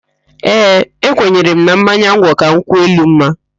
Ee, ekwenyere m na mmanya ngwọ ka nkwụ elu mma